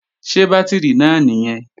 Ṣé bátìrì náà nìyẹn?